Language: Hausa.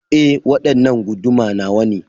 E, waɗanna guduma nawane.